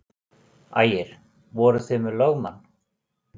Ægir: Voruð þið með lögmann?